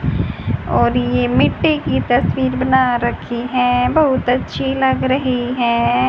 और ये मिट्टी की तस्वीर बना रखी है बहुत अच्छी लग रही है।